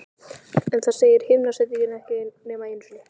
En það segir himnasendingin ekki nema einu sinni.